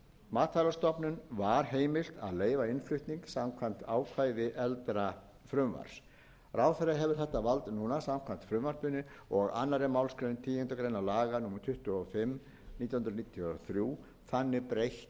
matvælastofnun var heimilt að leyfa innflutning samkvæmt ákvæði eldra frumvarps ráðherra hefur þetta vald núna samkvæmt frumvarpinu og annarrar málsgreinar tíundu grein laga númer tuttugu og fimm nítján hundruð níutíu og þrjú þannig breytt